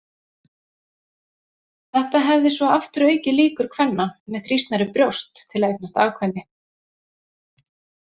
Þetta hefði svo aftur aukið líkur kvenna með þrýstnari brjóst til að eignast afkvæmi.